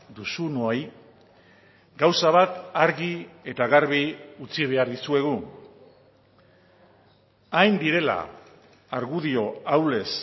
duzunoi gauza bat argi eta garbi utzi behar dizuegu hain direla argudio ahulez